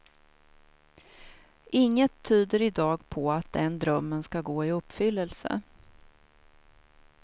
Inget tyder i dag på att den drömmen ska gå i uppfyllelse.